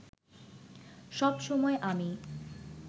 সব সময় আমি